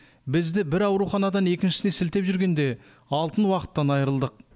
бізді бір ауруханадан екіншісіне сілтеп жүргенде алтын уақыттан айырылдық